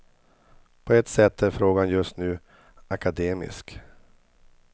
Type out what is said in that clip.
På ett sätt är frågan just nu akademisk.